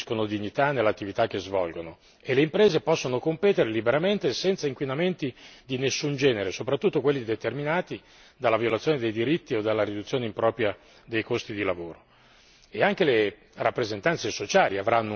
Allora i lavoratori e le lavoratrici acquisiscono dignità nell'attività che svolgono e le imprese possono competere liberamente senza inquinamenti di nessun genere, soprattutto quelli determinati dalla violazione dei diritti o dalla riduzione impropria dei costi di lavoro.